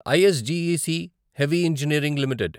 ISGEC heavy engineering limited